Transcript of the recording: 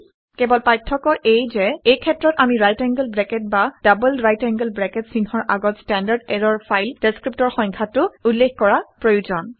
কেৱল পাৰ্থক্য এয়ে যে এই ক্ষেত্ৰত আমি ৰাইট এংগোল ব্ৰেকেট বা ডবল ৰাইট এংগোল ব্ৰেকেট চিহ্নৰ আগত ষ্টেণ্ডাৰ্ড ইৰৰৰ ফাইল ডেচক্ৰিপ্টৰ সংখ্যাটো উল্লেখ কৰা প্ৰয়োজন